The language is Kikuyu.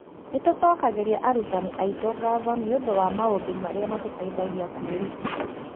Nĩ tũcokagĩria arutani aitũ ngatho nĩ ũndũ wa maũndũ marĩa matũteithagia kwĩruta.